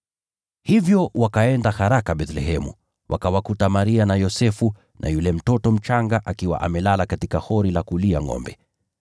Hivyo wakaenda haraka Bethlehemu, wakawakuta Maria na Yosefu na yule mtoto mchanga akiwa amelala katika hori la kulia ngʼombe.